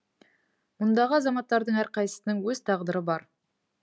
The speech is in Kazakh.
мұндағы азаматтардың әрқайсысының өз тағдыры бар